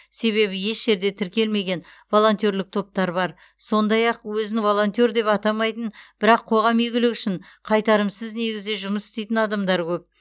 себебі еш жерде тіркелмеген волонтерлік топтар бар сондай ақ өзін волонтер деп атамайтын бірақ қоғам игілігі үшін қайтарымсыз негізде жұмыс істейтін адамдар көп